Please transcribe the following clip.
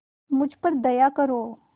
मुझ पर दया करो